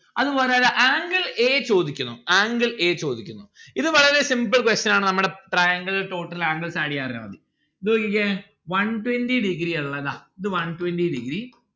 അത് പോലെ ഇതാ angle a ചോദിക്കുന്നു angle a ചോദിക്കുന്നു ഇത് വളരെ simple question ആണ് നമ്മൾടെ triangle total angles add എയ്യാൻ അറിഞ്ഞാ മതി ഇത് നോക്കിക്കേ one twenty degree ആ ഇളേ ഇതാ ഇത് one twenty degree